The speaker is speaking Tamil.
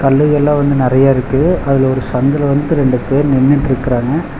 கல்லு எல்லா வந்து நெறைய இருக்கு அதுல ஒரு சந்துல வந்து ரெண்டு பேர் நின்னுட்ருக்குறாங்க.